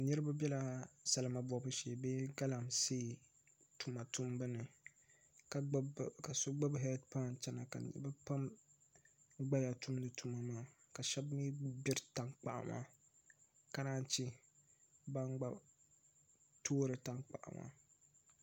Niraba biɛla salima gbibu shee bee galamsee tuma tumbu ni ka so gbubi heed pai chɛna ka niraba pam gbaya tumdi tuma maa ka shab mii gbiri tankpaɣu maa ka naan chɛ ban gba toori tankpaɣu maa